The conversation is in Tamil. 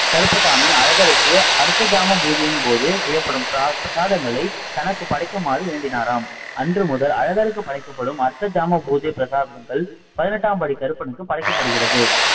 கருப்பசாமி, அழகருக்கு அர்த்த ஜாம பூஜையின் போது செய்யப்படும் பிரத பிரசாதங்களை தனக்கு படைக்குமாறு வேண்டினாராம் அன்று முதல் அழகருக்கு படைக்கப்படும் அர்த்த ஜாம பூஜை பிரசாதங்கள் பதினெட்டாம்படி கருப்பனுக்கு படைக்கப் படுகிறது.